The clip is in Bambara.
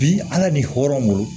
Bi ala ni hɔrɔn